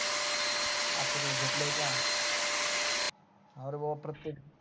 अकरावी ला घेतलाय काय पाह रे बाबा प्रतेक